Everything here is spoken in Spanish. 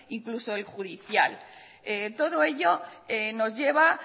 incluso el judicial todo ello nos lleva